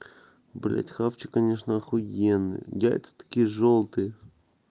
блять хавчик конечно охуенный яйца такие жёлтые